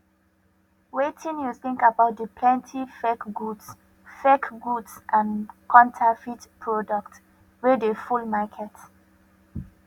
wetin you think about di plenty fake goods fake goods and counterfeit products wey dey full market